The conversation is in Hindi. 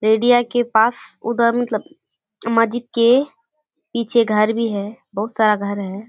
के पास उधर मतलब के पीछे घर भी है बहुत सारा घर है।